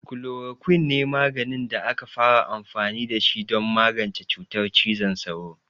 Chloroquine ne maganin da aka fara amfani da shi don magance cutar cizon sauro.